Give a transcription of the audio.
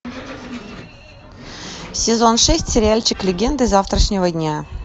сезон шесть сериальчик легенды завтрашнего дня